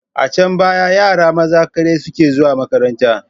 A dcan baya yara maza kaɗai suke zuwa makaranta.